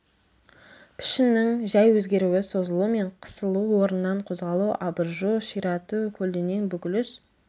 пішіннің жәй өзгеруі созылу мен қысылу орнынан қозғалу абыржу ширату көлденең бүгіліс